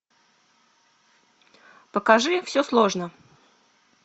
покажи все сложно